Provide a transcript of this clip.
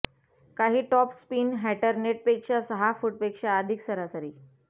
काही top spin हॅटर नेटपेक्षा सहा फूटपेक्षा अधिक सरासरी